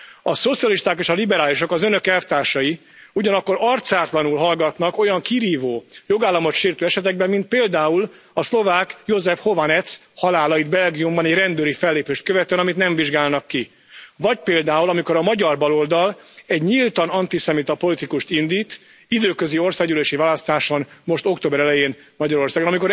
A szocialisták és a liberálisok, az önök elvtársai ugyanakkor arcátlanul hallgatnak olyan kirívó, jogállamot sértő esetekben, mint például a szlovák Jozef Chovanec halála itt Belgiumban egy rendőri fellépést követően, amit nem vizsgálnak ki. Vagy például amikor a magyar baloldal egy nyíltan antiszemita politikust indít időközi országgyűlési választáson most október elején Magyarországon.